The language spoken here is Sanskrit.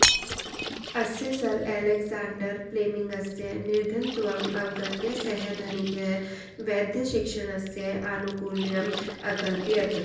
अस्य सर् अलेक्साण्डर् प्लेमिङ्गस्य निर्धनत्वम् अवगत्य सः धनिकः वैद्यशिक्षणस्य आनुकूल्यम् अकल्पयत्